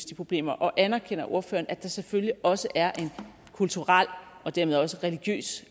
de problemer og anerkender ordføreren at der selvfølgelig også er en kulturel og dermed også religiøs